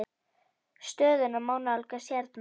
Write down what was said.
Stöðuna má nálgast hérna.